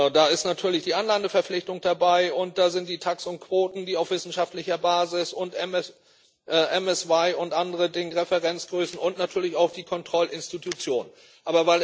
Da ist natürlich die Anlandeverpflichtung dabei, und da sind die TACs und Quoten auf wissenschaftlicher Basis, MSY und andere Referenzgrößen und natürlich auch die Kontrollinstitution dabei.